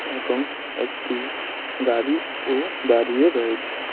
এবং একটি গাড়িও দাঁড়িয়ে রয়েছে।